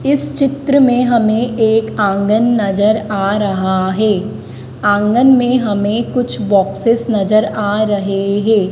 इस चित्र में हमें एक आंगन नजर आ रहा है आंगन में हमें कुछ बॉक्सेस नजर आ रहे हे।